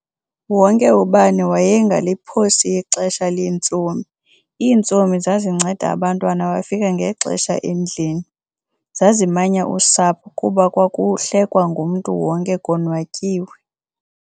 wonke ubani waye ngaliphosi ixesha lentsomi.iintsomi zazinceda abantwana bafike ngexesha endlini.zazimanya usapho kuba kwakuhlekwa ngumntu wonke konwatyiwe.